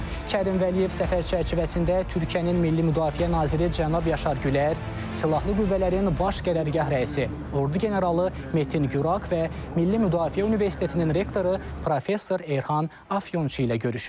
Kərim Vəliyev səfər çərçivəsində Türkiyənin Milli Müdafiə naziri cənab Yaşar Gülər, Silahlı Qüvvələrin Baş Qərargah rəisi ordu generalı Metin Gürak və Milli Müdafiə Universitetinin rektoru professor Erhan Afyonçu ilə görüşüb.